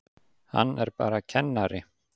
Hann er bara kennari.